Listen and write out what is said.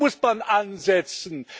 ist. Hier muss man ansetzen.